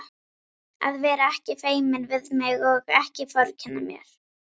Að vera ekki feiminn við mig og ekki vorkenna mér!